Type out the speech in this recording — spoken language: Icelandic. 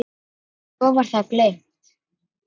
Svo var það gleymt.